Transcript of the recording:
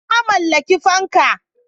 Na mallaki fanka.